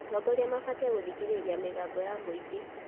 Atongoria mabatiĩ gũthikĩrĩria mĩgambo ya mũingĩ.